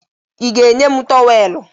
Ị ga-enye m tọweelụ?